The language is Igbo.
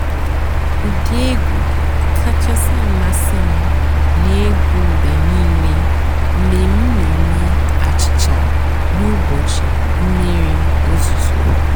ụ́dị́ ègwú kàchàsị́ àmásị́ m nà-ègwú mg̀bé nìílé mg̀bé m nà-èmée àchị́cha n'ụ́bọ̀chị́ m̀mìrí ózùzó.